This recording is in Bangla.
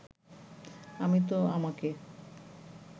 আমি তো আমাকে